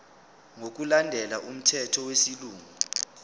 ngokulandela umthetho wesilungu